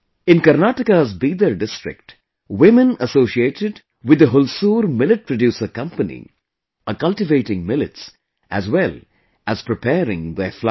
In Karnataka's Bidar district, women associated with the Hulsoor Millet Producer Company are cultivating millets as well as preparing their flour